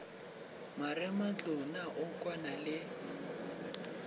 marematlou na o kwana le